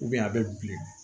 a bɛ bilen